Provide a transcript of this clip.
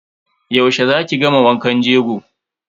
Yaushe za ki gama wankan jego.